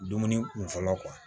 Dumuni kun fɔlɔ